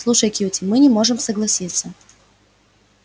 слушай кьюти мы не можем согласиться